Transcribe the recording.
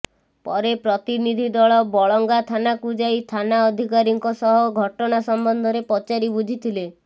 ପରେ ପ୍ରତିନିଧି ଦଳ ବଳଙ୍ଗା ଥାନାକୁ ଯାଇ ଥାନା ଅଧିକାରୀଙ୍କ ସହ ଘଟଣା ସମ୍ବନ୍ଧରେ ପଚାରି ବୁଝିଥିଲେ